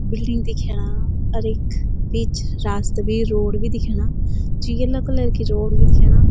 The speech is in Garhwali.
बिल्डिंग दिख्यणा अर ऐक बीच रास्ता बि रोड़ बि दिख्यणा च येलो कलर की रोड़ बि दिख्यणा --